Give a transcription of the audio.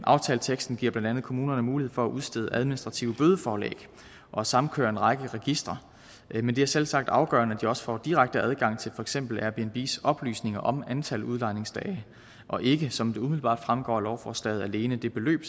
aftaleteksten giver blandt andet kommunerne mulighed for at udstede administrative bødeforlæg og samkøre en række registre men det er selvsagt afgørende at de også får direkte adgang til for eksempel airbnbs oplysninger om antal udlejningsdage og ikke som det umiddelbart fremgår af lovforslaget alene det beløb